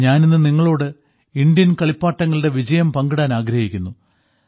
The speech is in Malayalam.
ഞാനിന്ന് നിങ്ങളോട് ഇന്ത്യൻ കളിപ്പാട്ടങ്ങളുടെ വിജയം പങ്കിടാൻ ആഗ്രഹിക്കുന്നു